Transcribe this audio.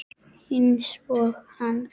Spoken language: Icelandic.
Einsog hann.